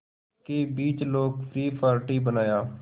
के बीच लोकप्रिय पार्टी बनाया